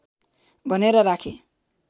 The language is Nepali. भनेर राखे